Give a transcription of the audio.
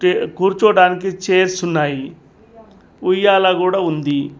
కూర్చోవడానికి చైర్స్ ఉన్నాయి ఉయ్యాల కూడా ఉంది.